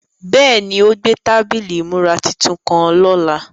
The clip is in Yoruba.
Bẹ́ẹ̀ni, o gbẹ̀ tabílí ìmúrà tuntun kan lọ́lá.